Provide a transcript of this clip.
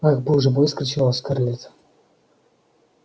ах боже мой вскричала скарлетт